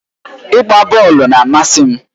Ịgba bọọlụ na-amasị m.